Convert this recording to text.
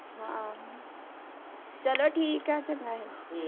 ਹਮ ਚਲੋ ਠੀਕ ਏ ਚੰਗਾ ਫੇਰ